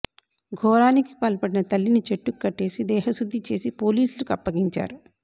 ఘోరానికి పాల్పడిన తల్లిని చెట్టుకు కట్టేసి దేహశుద్ధి చేసి పోలీసులకు అప్పగించారు